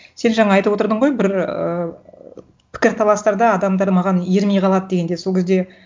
сен жаңа айтып отырдың ғой бір ыыы пікірталастарда адамдар маған ермей қалады дегенде сол кезде